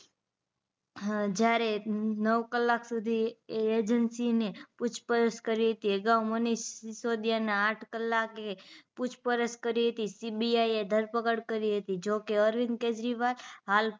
હ જ્યારે નવ કલાક સુધી પૂછપરછ એજન્સી ને પૂછપરછ કરી હતી અગાઉ મનીષ સીસોદીયાના આઠ કલાકે પૂછપરછ કરી હતી CBI એ ધરપકડ કરી હતી જોકે અરવિંદ કેજરીવાલ હાલ